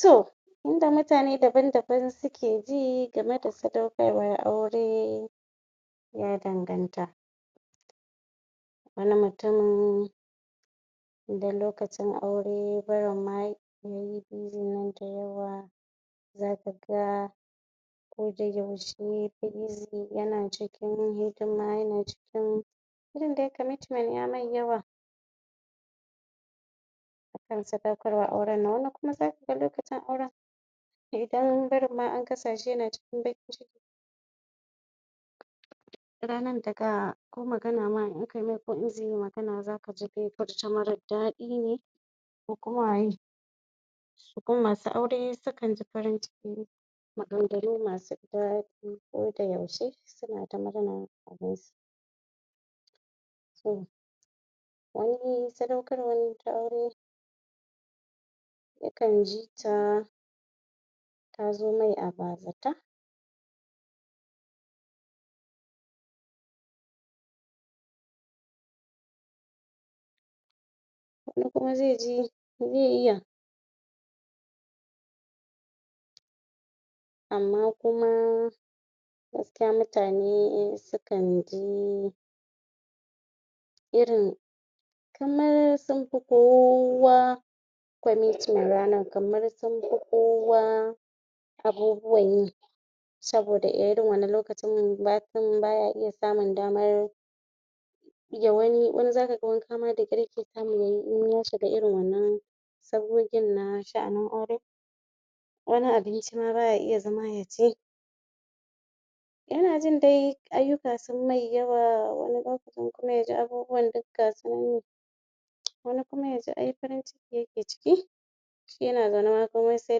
To yadda mutane daban daban suke ji game da sadaukarwar aure ya danganta wani mutum idan lokacin aure nan dayawa zaka ga yana cikin hidima yana cikin irin dai commitment ya mai yawa yakan sadaukar wa auren nan wani kuma zaka ga lokacin auren idan barin an kasa shi yana cikin baƙin ciki ranan daga ko magana ma in aka mai ko in zai yo magana zaka ji zai furta marar daɗi ne ko kuma masu aurre sukan ji farin ciki ne maganganu masu daɗi A koda yaushe suna ta murna abunsu wani sadaukarwan ta aure yakan jita tazo mai a bazata wani kuma zai ji zai iya amma kuma gaskiya mutane sukan ji irin kamar sun fi kowa commitment kamar sun fi kowa abubuwan yi saboda irin wannan lokacin mutum baya iya samun damar Ya wani in zaka wanka ma wai da ƙyar yake samu yayi in ya shuga irin wannan sabgogin na sha'anin aure wani abinci ma baya iya zama ya ci Yana jin daiayyuka sun mai yawa wani lokacin yaji abubuwan duk gasu nan wani kuma yaji ai farin ciki yake ciki yana zaune ma komai sai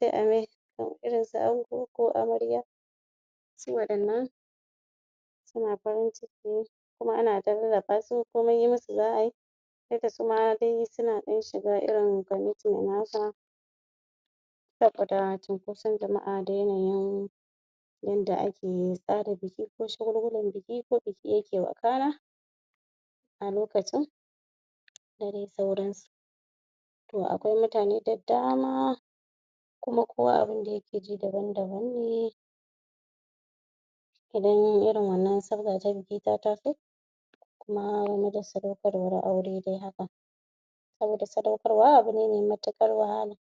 dai a mai irin su ango ko amarya su waɗannan suna farin ciki ne kuma ana ta lallaɓa komai yi musu z a ayi dukkan su ma dai suna ɗan shiga irin commitment haka saboda cinkoson jama'a da yanayin yanda ake tsara biki ko shagulgulan biki ko yadda biki yake wakana a lokacin da dai sauransu to akwai mutane da dama kuma kowa abunda yake ji daban daban ne idan irin wannan sabga ta biki ta taso na sadaukarwar aure dai haka saboda sadaukarwa abune mai matuƙar wahala.